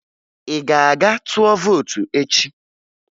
Ị ga-aga tụọ vootu echi?